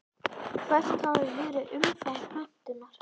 Hvert hafi verið umfang pöntunar?